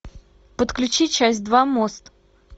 подключи часть два мост